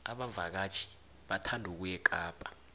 abavakatjhi bathanda ukuya ekapa